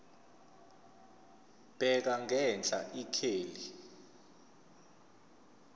bheka ngenhla ikheli